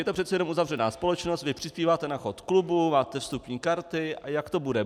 Je to přece jenom uzavřená společnost, vy přispíváte na chod klubu, máte vstupní karty - a jak to bude?